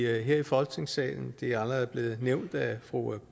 her i folketingssalen det er allerede blevet nævnt af fru